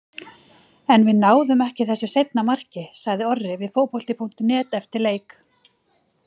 En við náðum ekki þessu seinna marki, sagði Orri við Fótbolti.net eftir leik.